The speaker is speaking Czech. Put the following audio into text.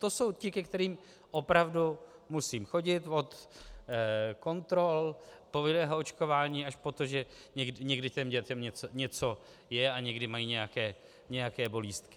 To jsou ti, ke kterým opravdu musím chodit od kontrol, povinného očkování až po to, že někdy těm dětem něco je a někdy mají nějaké bolístky.